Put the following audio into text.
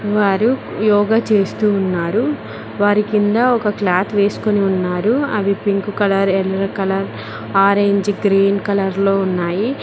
వారు యోగ చేస్తూ ఉన్నారు వారి కింద ఒక క్లాత్ వేసుకొని ఉన్నారు అవి పింక్ కలర్ ఎర్ర కలర్ ఆరెంజ్ గ్రీన్ కలర్ లో ఉన్నాయి.